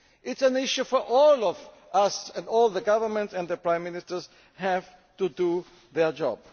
It is an issue for all of us, and all the governments and the prime ministers have to do their job.